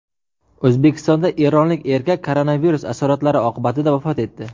O‘zbekistonda eronlik erkak koronavirus asoratlari oqibatida vafot etdi.